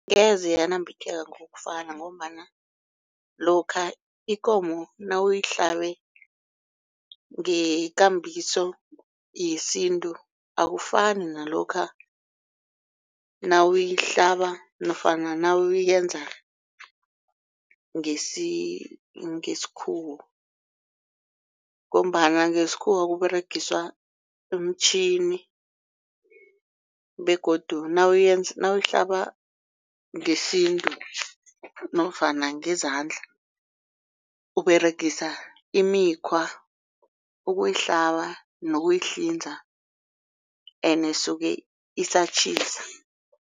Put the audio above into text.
Ngeze yanambitheka ngokufana ngombana lokha ikomo nawuyihlabe ngekambiso yesintu akufani nalokha nawuyihlaba nofana nawuyenze ngesikhuwa. Ngombana ngesikhuwa kuberegiswa umitjhini begodu nawuyihlaba ngesintu nofana ngezandla uberegisa imikhwa ukuhlaba nokuhlinza ende isuka isatjhisa.